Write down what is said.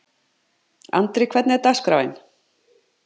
Andri, hvernig er dagskráin?